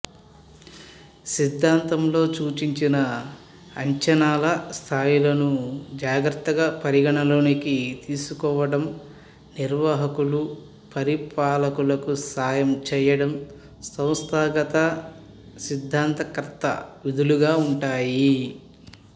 సిద్ధాంతంలో సూచించిన అంచనాల స్థాయిలను జాగ్రత్తగా పరిగణలోకి తీసుకోవడం నిర్వాహకులు పరిపాలకులకు సాయం చేయడం సంస్థాగత సిద్ధాంతకర్త విధులుగా ఉంటాయి